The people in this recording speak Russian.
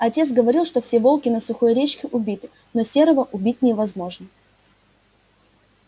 отец говорил что все волки на сухой речке убиты но серого убить невозможно